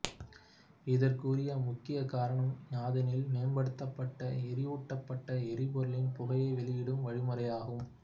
இதற்குரிய முக்கிய காரணம் யாதெனில் மேம்படுத்தப்பட்ட எரியூட்டப்பட்ட எரிபொருளின் புகையை வெளிவிடும் வழிமுறையாகும்